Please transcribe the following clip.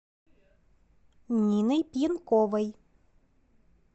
ниной пьянковой